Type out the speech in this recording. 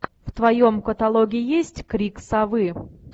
в твоем каталоге есть крик совы